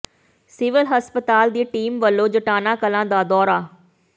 civil ਹਸਪਤਾਲ ਦੀ team ਵਲੋਂ ਜਟਾਣਾ ਕਲਾਂ ਦਾ ਦੌਰਾ